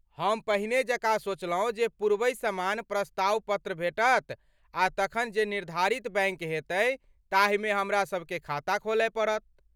हम पहिने जकाँ सोचलौं जे पूर्वहि समान प्रस्ताव पत्र भेटत आ तखन जे निर्धारित बैङ्क हेतै ताहिमे हमरासबकेँ खाता खोलय पड़त।